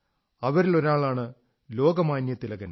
അവരിലൊരാളാണ് Lokmanya Thilakan